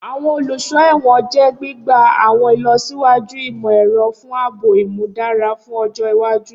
Awọn oluso ẹwọn jẹ gbigba awọn ilọsiwaju imọ-ẹrọ fun aabo imudara fun ọjọ iwaju.